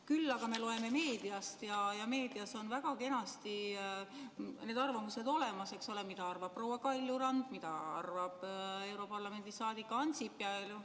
Küll aga me loeme meediast ja meedias on väga kenasti need arvamused olemas, eks ole, mida arvab proua Kaljurand, mida arvab europarlamendi liige Ansip.